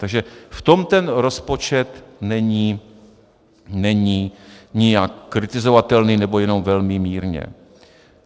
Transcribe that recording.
Takže v tom ten rozpočet není nijak kritizovatelný, nebo jenom velmi mírně.